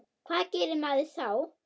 Hvað gerir maður þá?